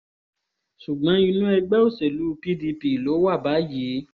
ṣùgbọ́n inú ẹgbẹ́ òṣèlú pdp ló wà báyìí